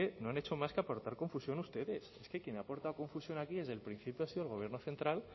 no han hecho más que aportar confusión ustedes es que quien aporta confusión aquí desde el principio ha sido el gobierno central